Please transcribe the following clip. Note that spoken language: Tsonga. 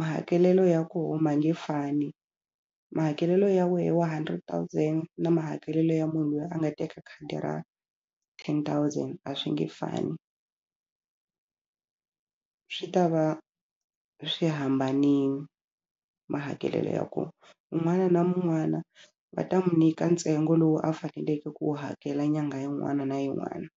mahakelelo ya koho ma nge fani mahakelelo ya wehe wa hundred thousand na mahakelelo ya munhu loyi a nga teka khadi ra ten thousand a swi nge fani swi ta va swi hambanile mahakelelo ya ko un'wana na mun'wana va ta mu nyika ntsengo lowu a faneleke ku wu hakela nyangha yin'wana na yin'wana.